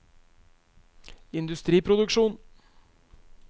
industriproduksjon